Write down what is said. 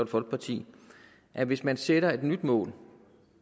folkeparti at hvis man sætter et nyt mål